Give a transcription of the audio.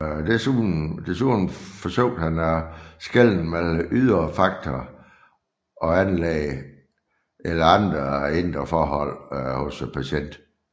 Desuden forsøgte han at skelne mellem ydre faktorer og anlæg eller andre indre forhold hos patienten